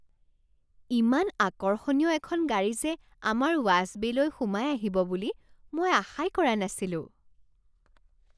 ইমান আকৰ্ষণীয় এখন গাড়ী যে আমাৰ ৱাচ বে'লৈ সোমাই আহিব বুলি মই আশাই কৰা নাছিলোঁ।